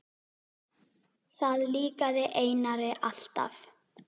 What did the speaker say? Það líkaði Einari alltaf.